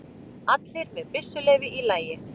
Allir með byssuleyfi í lagi